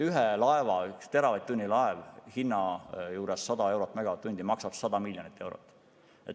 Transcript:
Laeva puhul, kui megavatt-tund maksab 100 eurot, siis üks teravatt-tund maksab 100 miljonit eurot.